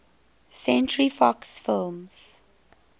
century fox films